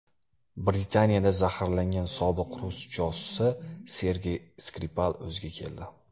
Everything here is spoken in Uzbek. Britaniyada zaharlangan sobiq rus josusi Sergey Skripal o‘ziga keldi.